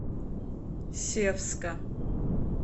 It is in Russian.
севска